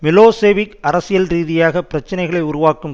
Milosevic அரசியல்ரீதியாக பிரச்சனைகளை உருவாக்கும்